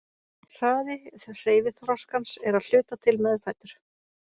Hraði hreyfiþroskans er að hluta til meðfæddur.